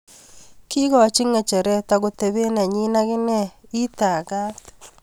kiikochi ng'echeret ak kotebe nenyin ak inen.ii tagat!